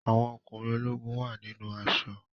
Àwọn ọkùnrin ológun wà nínú aṣọ.